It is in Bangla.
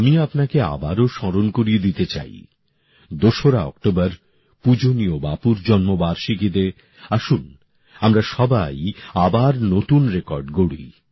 আমি আপনাকে আবারও স্মরণ করিয়ে দিতে চাই ২রা অক্টোবর পূজনীয় বাপুর জন্মবার্ষিকীতে আসুন আমরা সবাই আবার নতুন রেকর্ড গড়ি